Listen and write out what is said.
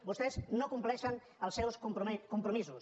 vostès no compleixen els seus compromisos